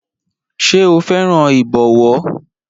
Ṣé o fẹ́ràn ìbọ̀wọ́?